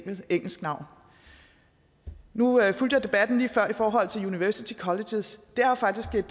engelsk navn nu fulgte jeg debatten lige før i forhold til university colleges det er jo faktisk